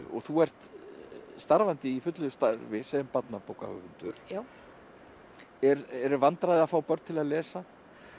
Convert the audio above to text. og þú ert starfandi í fullu starfi sem barnabókahöfundur eru vandræði að fá börn til að lesa